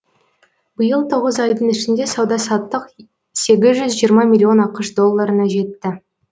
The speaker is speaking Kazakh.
биыл тоғыз айдың ішінде сауда саттық сегіз жүз жиырма миллион ақш долларына жетті